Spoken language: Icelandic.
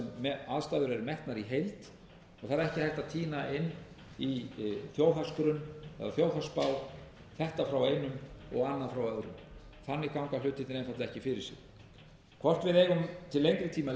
í heild og það er ekki hægt að tína inn í þjóðhagsgrunn eða þjóðhagsspá þetta frá einum og annað frá öðrum þannig ganga hlutirnir einfaldlega ekki fyrir sig hvort við eigum til lengri tíma